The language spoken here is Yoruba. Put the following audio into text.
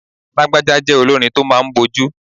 Lagbaja jẹ́ olórin tó máa ń bójú.